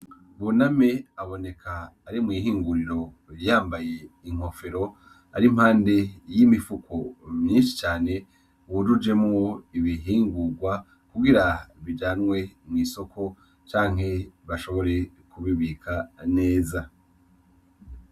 Buname aboneka ari mw'ihinguriro yambaye inkofero, ari impande y'imifuko myinshi cane yujujwemwo ibihingurwa kugira bijanwe mw'isoko cane bashobore kubibika neza.